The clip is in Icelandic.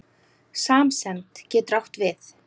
Samsemd getur átt við